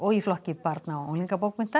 í flokki barna og